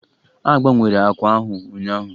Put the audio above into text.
A gbanwere àkwà ahụ ụnyaahụ